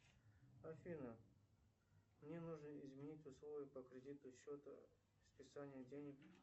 афина мне нужно изменить условия по кредиту счету списания денег